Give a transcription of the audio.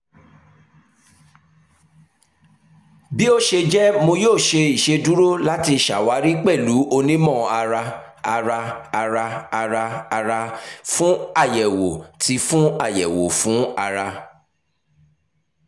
bi o ṣe jẹ mo yoo ṣe iṣeduro lati ṣawari pẹlu onimọ-ara-ara-ara-ara-ara fun ayẹwo ti fun ayẹwo ti ara